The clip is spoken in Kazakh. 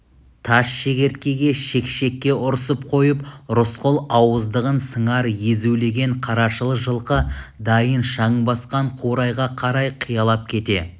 тас шегірткеге шекшекке ұрсып қойып рысқұл ауыздығын сыңар езулеген қарашыл жылқы дайын шаң басқан қурайға қарай қиялап кете